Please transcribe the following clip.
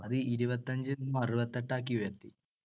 ഇരുപത്തഞ്ചിൽനിന്ന് അറുപത്തിയെട്ടാക്കി ഉയർത്തി.